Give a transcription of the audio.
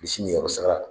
Bilisi niyɔrɔ sara